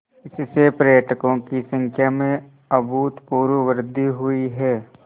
इससे पर्यटकों की संख्या में अभूतपूर्व वृद्धि हुई है